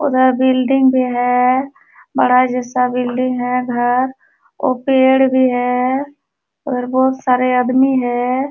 उधर बिल्डिंग भी है। बड़ा जैसा बिल्डिंग है उधर और पेड़ भी हैं और बोहत सारे अदमी है।